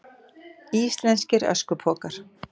Íslenskir öskupokar.